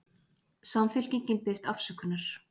Samfylkingin biðst afsökunar